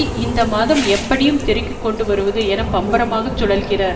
இந்த மாதம் எப்படியும் திரைக்கு கொண்டு வருவது என பம்பரமாக சுழல்கிறார்